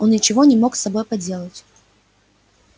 он ничего не мог с собой поделать